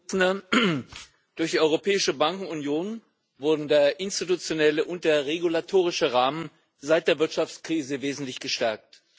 Herr Präsident! Durch die Europäische Bankenunion wurden der institutionelle und der regulatorische Rahmen seit der Wirtschaftskrise wesentlich gestärkt.